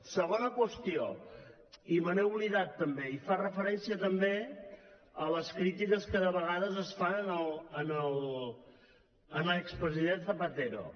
segona qüestió i me n’he oblidat també i fa referència també a les crítiques que de vegades es fan a l’expresident zapatero